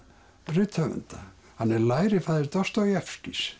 rithöfunda hann er lærifaðir